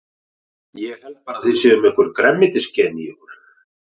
Ég held bara að þið séuð með einhver grænmetisgen í ykkur.